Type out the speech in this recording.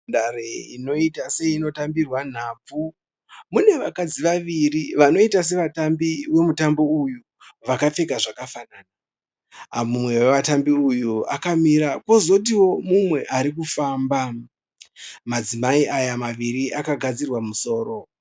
Nhandare inoita seino tambirwa nhabvu, mune vakadzi vaviri vanoita sevatambi vemutambo uyu vakapfeka zvakafanana. Mumwe wevatambi uyu akamira pozotiwo mumwe ari kufamba. Madzimai aya maviri akagadzirwa musoro.